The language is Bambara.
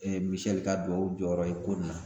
Misɛli ka dubaw jɔyɔrɔ ye ko nin na